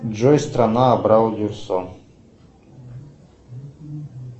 джой страна абрау дюрсо